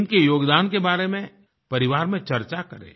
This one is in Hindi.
इनके योगदान के बारे में परिवार में चर्चा करें